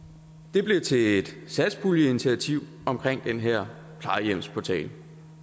det blev til et satspuljeinitiativ omkring den her plejehjemsportal